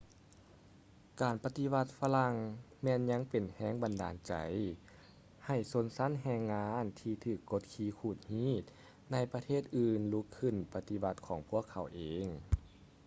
ການປະຕິວັດຝຣັ່ງແມ່ນຍັງເປັນແຮງບັນດານໃຈໃຫ້ຊົນຊັ້ນແຮງງານທີ່ຖືກກົດຂີ່ຂູດຮີດໃນປະເທດອື່ນລຸກຂຶ້ນປະຕິວັດຂອງພວກເຂົາເອງ